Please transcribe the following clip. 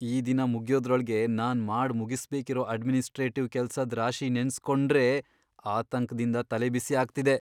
ಈ ದಿನ ಮುಗ್ಯೋದ್ರೊಳ್ಗೆ ನಾನ್ ಮಾಡ್ ಮುಗುಸ್ಬೇಕಿರೋ ಅಡ್ಮಿನಿಸ್ಟ್ರೇಟಿವ್ ಕೆಲ್ಸದ್ ರಾಶಿ ನೆನ್ಸ್ಕೊಂಡ್ರೇ ಆತಂಕ್ದಿಂದ ತಲೆಬಿಸಿ ಆಗ್ತಿದೆ.